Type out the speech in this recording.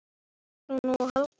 Svona var Helga.